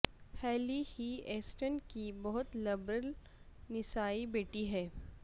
ہیلی ہی اسٹن کی بہت لبرل نسائی بیٹی ہے